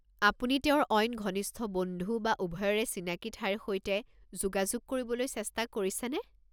আপুনি তেওঁৰ অইন ঘনিষ্ঠ বন্ধু বা উভয়ৰে চিনাকি ঠাইৰ সৈতে যোগাযোগ কৰিবলৈ চেষ্টা কৰিছেনে?